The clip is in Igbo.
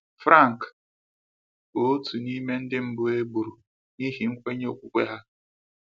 Franc bụ otu n’ime ndị mbụ e gburu n’ihi nkwenye okwukwe ya.